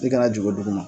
I kana jigin dugu ma